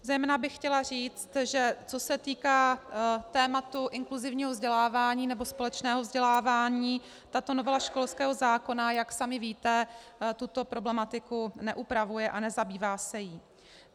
Zejména bych chtěla říct, že co se týká tématu inkluzivního vzdělávání nebo společného vzdělávání, tato novela školského zákona, jak sami víte, tuto problematiku neupravuje a nezabývá se jí.